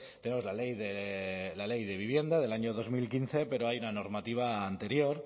tenemos la ley de vivienda del año dos mil quince pero hay una normativa anterior